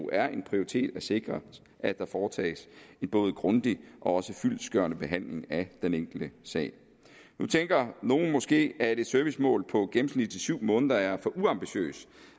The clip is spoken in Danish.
er en prioritet at sikre at der foretages en både grundig og fyldestgørende behandling af den enkelte sag nu tænker nogle måske at et servicemål på gennemsnitligt syv måneder er for uambitiøst